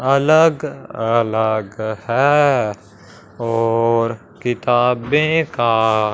अलग अलग है और किताबें का--